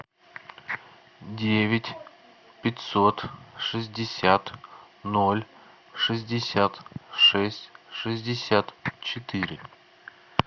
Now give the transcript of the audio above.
девять пятьсот шестьдесят ноль шестьдесят шесть шестьдесят четыре